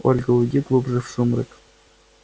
ольга уйди глубже в сумрак